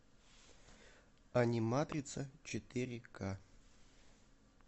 аниматрица четыре ка